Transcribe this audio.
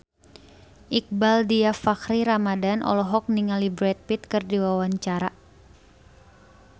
Iqbaal Dhiafakhri Ramadhan olohok ningali Brad Pitt keur diwawancara